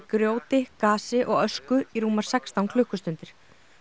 grjóti gasi og ösku í rúmar sextán klukkustundir